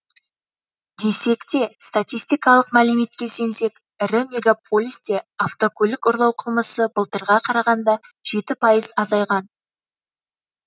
десек те статистикалық мәліметке сенсек ірі мегаполисте автокөлік ұрлау қылмысы былтырға қарағанда жеті пайыз азайған